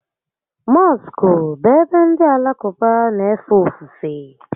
Mọskụ bụ ebe ndị Alakụba n'éfè ofufè